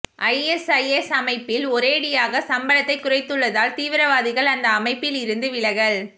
ISIS அமைப்பில் ஒரேயடியாக சம்பளத்தை குறைத்துள்ளதால் தீவிரவாதிகள் அந்த அமைப்பில் இருந்து விலகல்